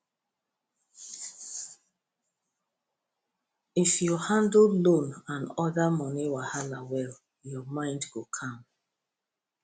if you handle loan and other money wahala well your mind go calm